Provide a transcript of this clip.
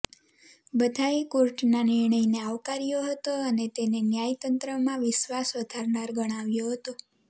બધાંએ કોર્ટના નિર્ણયને આવકાર્યો હતો અને તેને ન્યાયતંત્રમાં વિશ્વાસ વધારનાર ગણાવ્યો હતો